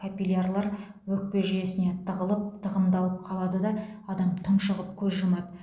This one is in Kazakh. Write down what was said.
капилярлар өкпе жүйесіне тығылып тығындалып қалады да адам тұншығып көз жұмады